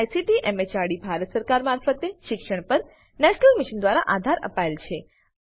જેને ICT MHRD Bharat સરકાર મારફતે શિક્ષણ પર નેશનલ મિશન દ્વારા આધાર અપાયેલ છે